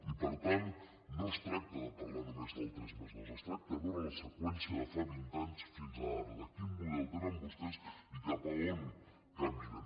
i per tant no es tracta de parlar només del tres+dos es tracta de veure la seqüència de fa vint anys fins ara de quin model tenen vostès i cap a on caminen